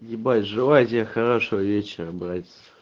ебать желаю тебе хорошего вечера братец